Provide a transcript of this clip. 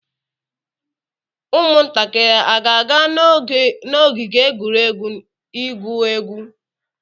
Ụmụntakịrị a ga-aga n'ogige egwuregwu igwu egwu?